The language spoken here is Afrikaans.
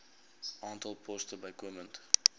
aantal poste bykomend